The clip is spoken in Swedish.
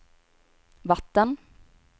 vatten